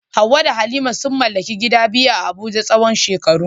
Hawwa da Halima sun mallaki gida biyu a Abuja tsawon shekaru.